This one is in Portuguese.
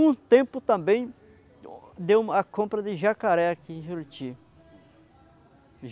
Um tempo também, deu a compra de jacaré aqui em Juruti.